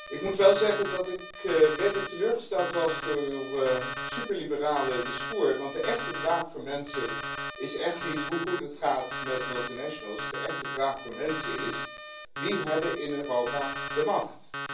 Ik moet wel zeggen dat ik redelijk teleurgesteld ben door uw superliberale toespraak, want de echte vraag van mensen is echt niet hoe goed het gaat met multinationals. De echte vraag van mensen is wie hebben in Europa de macht?